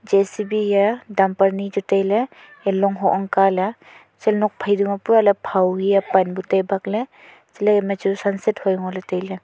J C B hiya dumper ni chu taile long hoh ongka le se nok phai phau hiya pan bu tai bakle chele ema chu sunset hui ngo le taile.